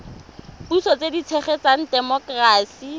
puso tse di tshegetsang temokerasi